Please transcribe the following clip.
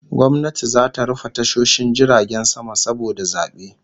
Gwamnati zata rufe tashoshin jiragen sama saboda zabe